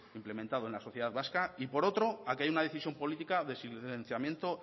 implementado en la sociedad vasca y por otro a que hay una decisión política de silenciamiento